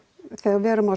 þegar við